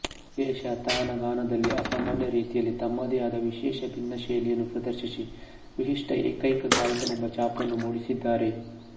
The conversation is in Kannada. ವಿಶೇಷತಾನಗಾನದಲ್ಲಿ ಅಸಾಮಾನ್ಯ ರೀತಿಯಲ್ಲಿ ತಮ್ಮದೆ ಆದ ವಿಶೇಷ ಭಿನ್ನ ಶೈಲಿಯನ್ನು ಪ್ರದರ್ಶಿಸಿ ವಿಶಿಷ್ಟ ಏಕೈಕ ಗಾಯಕನೆಂಬ ಛಾಪನ್ನು ಮೂಡಿಸಿದ್ದಾರೆ